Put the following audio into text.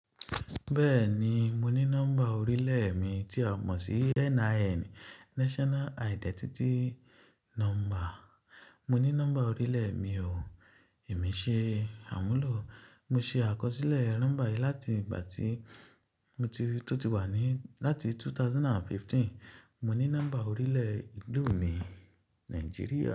Bẹ́ẹ̀ni, mo ní nọ́mbà orílẹ̀ mi tí a mọ̀ sí NIN, National Identity Number. Mo ní nọ́mbà orílẹ̀ mi o, èmi ṣe àmúlò. Mo ṣe àkọsílẹ̀ nọ́mbà yìí láti ìgbà tí mo ti tó ti wà ní, láti 2015. Mo ní nọ́mbà orílẹ̀ ìlú mi, Nigeria.